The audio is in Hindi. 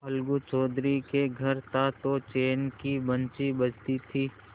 अलगू चौधरी के घर था तो चैन की बंशी बजती थी